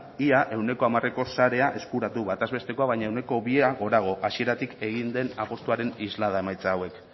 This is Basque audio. ia ehuneko hamareko sharea eskuratu bataz bestekoa baino ehuneko bia gorago hasieratik egin den apustuaren islada emaitza hauek